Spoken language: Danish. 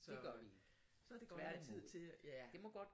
Så så det godt at have tid til ja